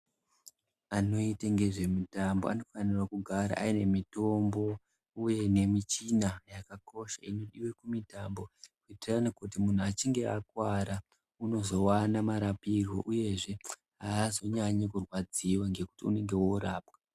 Anoita ngezve mitambo anofanire kugara ane mitombo uye nemichina yakakosha inodiwa kumitambo kuti munhu echinge akuwara unowana murapirwe uyezve aazonyanyi kurwadziwa ngekuti unenge oorapwa